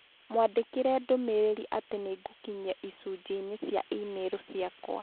Mwandĩkĩre ndũmĩrĩri atĩ nĩ ngũkinyia icunjĩ-inĩ cia e-mail ciakwa.